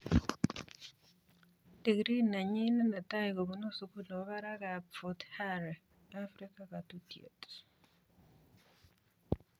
Digrii nenyinet netai kubunu sukul nebo barak ab Fort Hare, Afrika katutiet.